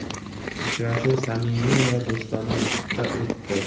Uchrashuv samimiy va do‘stona muhitda o‘tdi.